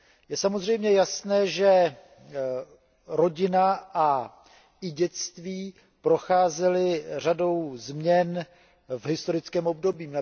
Je samozřejmě jasné, že rodina a i dětství procházely řadou změn v historickém období.